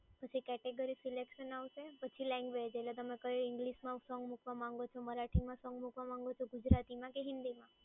પછી category selection આવશે, પછી લેંગ્વેજ એટલે તમે કઈ ઇંગ્લિશમાં સોંગ મૂકવા માંગવા માંગો છો, મરાઠીમાં સોંગ મૂકવા માંગવા માંગો છો, ગુજરાતીમાં કે હિન્દીમાં.